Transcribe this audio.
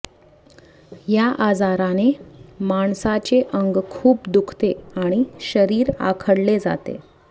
या आजाराने माणसाचे अंग खूप दुखते आणि शरीर आखडले जाते